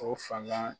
O fanga